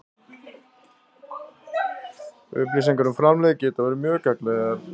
Upplýsingar um framlegð geta verið mjög gagnlegar.